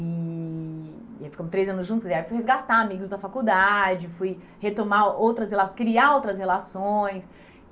E e aí ficamos três anos juntos, aí fui resgatar amigos da faculdade, fui retomar outras relaçõ, criar outras relações.